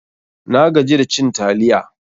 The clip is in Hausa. Na gaji da cin taliya.